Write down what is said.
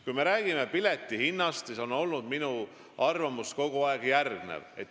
Kui me räägime piletihinnast, siis on minu arvamus kogu aeg olnud järgmine.